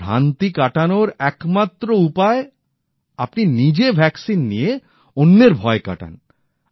ভ্রান্তি কাটানোর একমাত্র উপায় আপনি নিজে টিকা নিয়ে অন্যের ভয় কাটান